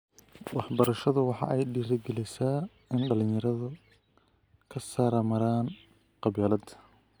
Waxbarashadu waxa ay dhiirigelisaa in dhalinyaradu ka saramaraan qabyaalada.